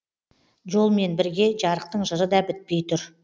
жолмен бірге жарықтың жыры да бітпей тұр